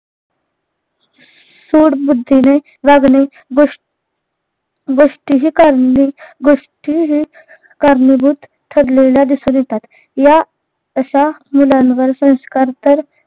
सूड बुद्धीने वागणे गोष गोष्टिही करणी गोष्टिही कारणीभूत ठरलेल्या दिसून येतात या अश्या मुलांवर संस्कार तर